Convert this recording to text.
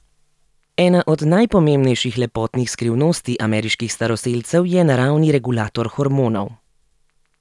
Ena od najpomembnejših lepotnih skrivnosti ameriških staroselcev je naravni regulator hormonov.